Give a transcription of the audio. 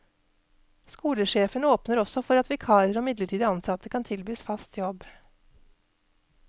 Skolesjefen åpner også for at vikarer og midlertidig ansatte kan tilbys fast jobb.